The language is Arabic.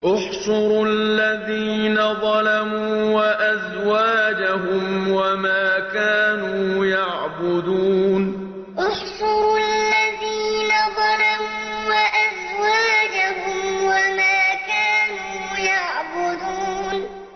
۞ احْشُرُوا الَّذِينَ ظَلَمُوا وَأَزْوَاجَهُمْ وَمَا كَانُوا يَعْبُدُونَ ۞ احْشُرُوا الَّذِينَ ظَلَمُوا وَأَزْوَاجَهُمْ وَمَا كَانُوا يَعْبُدُونَ